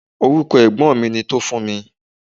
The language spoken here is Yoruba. Orúkọ ẹ̀gbọ́n mi ni Tofunmi.